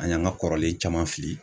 An y'an ka kɔrɔlen caman fili